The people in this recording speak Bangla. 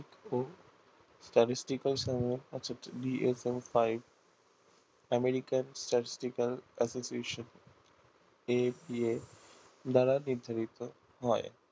statistical অৰ্থাৎ five আমেরিকার statisticalprocecutionAPA দ্বারা নির্ধারিত হয়